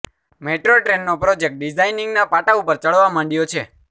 metro ટ્રેનનો project ડિઝાઈનિંગના પાટા ઉપર ચઢવા માંડ્યો છે